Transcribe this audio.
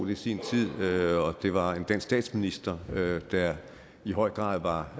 i sin tid og det var en dansk statsminister der i høj grad var